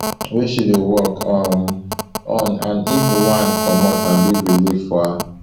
wey she dey work um on and if one comot na big relief for her